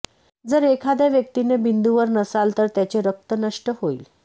जर एखाद्या व्यक्तीने बिंदूवर नसाल तर त्याचे रक्त नष्ट होईल